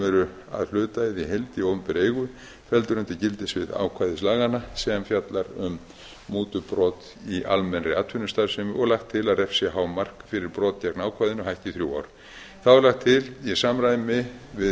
eru að hluta eða í heild í opinberri eigu felldir undir gildissvið ákvæðis laganna sem fjallar um mútubrot í almennri atvinnustarfsemi og lagt til að refsihámark fyrir brot gegn ákvæðinu hækki í þrjú ár þá er lagt til í samræmi við